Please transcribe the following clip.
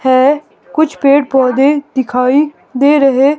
है कुछ पेड़ पौधे दिखाई दे रहे--